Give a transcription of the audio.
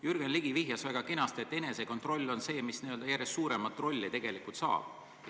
Jürgen Ligi viitas väga õigesti, et enesekontroll on see, mis järjest suurema rolli tegelikult saab.